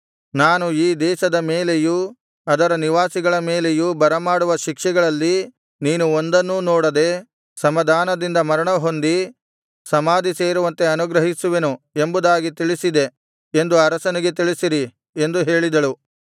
ನಾನು ಈ ದೇಶದ ಮೇಲೆಯೂ ಅದರ ನಿವಾಸಿಗಳ ಮೇಲೆಯೂ ಬರಮಾಡುವ ಶಿಕ್ಷೆಗಳಲ್ಲಿ ನೀನು ಒಂದನ್ನೂ ನೋಡದೆ ಸಮಾಧಾನದಿಂದ ಮರಣಹೊಂದಿ ಸಮಾಧಿ ಸೇರುವಂತೆ ಅನುಗ್ರಹಿಸುವೆನು ಎಂಬುದಾಗಿ ತಿಳಿಸಿದೆ ಎಂದು ಅರಸನಿಗೆ ತಿಳಿಸಿರಿ ಎಂದು ಹೇಳಿದಳು